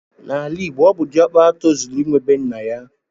Na ala igbo ọbụ di okpara tozuru inwe bee nnaya.